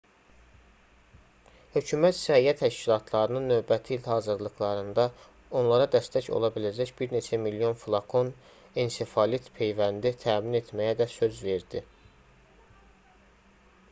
hökumət səhiyyə təşkilatlarının növbəti il hazırlıqlarında onlara dəstək ola biləcək bir neçə milyon flakon ensefalit peyvəndi təmin etməyə də söz verdi